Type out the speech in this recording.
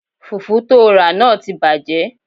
Fùfú tóo rà náà ti bàjẹ́